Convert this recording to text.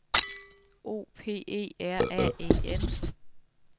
O P E R A E N